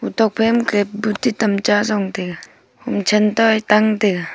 otok phaimakhe buti tamcha jong taiga homshen tae tang taiga.